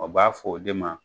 A b'a f'o de ma